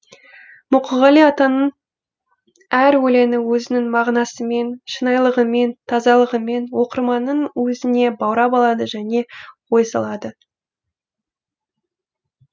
мұқағали атаның әр өлеңі өзінің мағынасымен шынайылығымен тазалығымен оқырманын өзіне баурап алады және ой салады